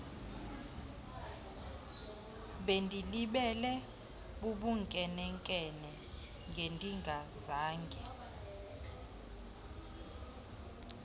bendilibele bubunkenenkene ngendingazange